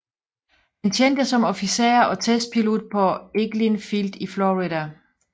Han tjente som officer og testpilot på Eglin Field i Florida